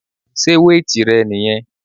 Sé weight rẹ niyẹn?